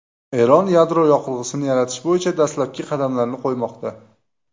Eron yadro yoqilg‘isini yaratish bo‘yicha dastlabki qadamlarni qo‘ymoqda.